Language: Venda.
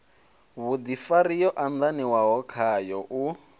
vhudifari yo andaniwaho khayo u